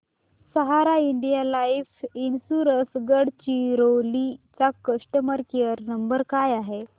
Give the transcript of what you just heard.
सहारा India life insurance Gadchiroli चा customer care number काय आहे